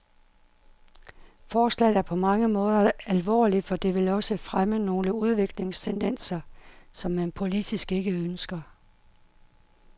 Forslaget er på mange måder alvorligt, for det vil også fremme nogle udviklingstendenser, som man politisk ikke ønsker.